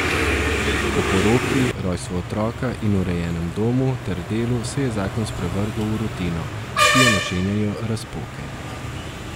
Po poroki, rojstvu otroka in urejenem domu ter delu se je zakon sprevrgel v rutino, ki jo načenjajo razpoke.